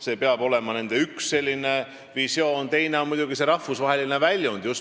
See peab olema üks nende visioon, teine on muidugi rahvusvaheline väljund.